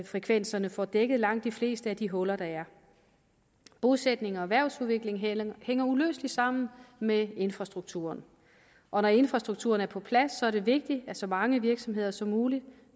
frekvenserne får dækket langt de fleste af de huller der er bosætning og erhvervsudvikling hænger uløseligt sammen med infrastrukturen og når infrastrukturen er på plads er det vigtigt at så mange virksomheder som muligt